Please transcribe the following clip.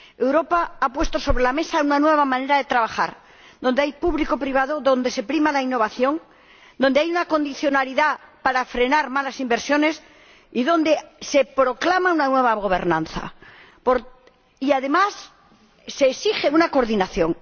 Europa ha puesto sobre la mesa una nueva manera de trabajar, donde hay aportación pública y privada, donde se prima la innovación, donde hay una condicionalidad para frenar malas inversiones, donde se proclama una nueva gobernanza y, además, se exige una coordinación.